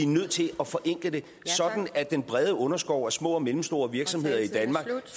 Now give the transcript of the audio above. nødt til at forenkle det sådan at den brede underskov af små og mellemstore virksomheder i danmark